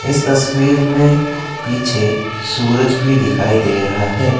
इस तस्वीर में पीछे सूरज भी दिखाई दे रहा है।